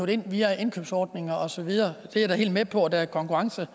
det ind via indkøbsordninger og så videre og er da helt med på at der er konkurrence